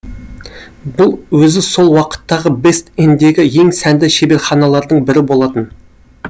бұл өзі сол уақыттағы бест эндегі ең сәнді шеберханалардың бірі болатын